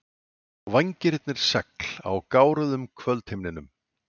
Vængirnir segl á gáruðum kvöldhimninum.